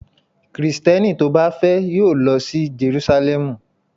Kristẹni tó bá fẹ́ yóò lọ sí Jerúsálẹ́mù.